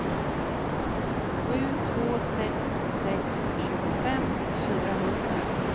sju två sex sex tjugofem fyrahundra